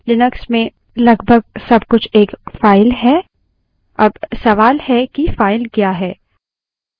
Linux में लगभग सब कुछ एक file है अब सवाल है की file क्या है